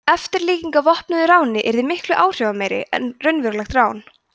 eftirlíking af vopnuðu ráni yrði miklu áhrifameiri en raunverulegt rán